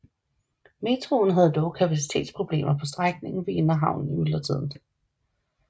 Metroen havde dog kapacitetsproblemer på strækningen ved Inderhavnen i myldretiden